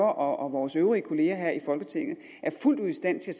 og vores øvrige kolleger her i folketinget er fuldt ud i stand til